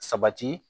Sabati